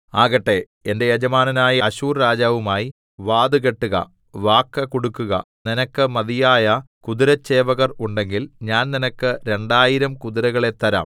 ആകട്ടെ എന്റെ യജമാനനായ അശ്ശൂർരാജാവുമായി വാതു കെട്ടുക വാക്കു കൊടുക്കുക നിനക്ക് മതിയായ കുതിരച്ചേവകർ ഉണ്ടെങ്കിൽ ഞാൻ നിനക്ക് രണ്ടായിരം കുതിരകളെ തരാം